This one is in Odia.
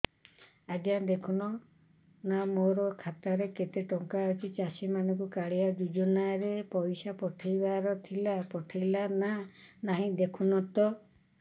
ଆଜ୍ଞା ଦେଖୁନ ନା ମୋର ଖାତାରେ କେତେ ଟଙ୍କା ଅଛି ଚାଷୀ ମାନଙ୍କୁ କାଳିଆ ଯୁଜୁନା ରେ ପଇସା ପଠେଇବାର ଥିଲା ପଠେଇଲା ନା ନାଇଁ ଦେଖୁନ ତ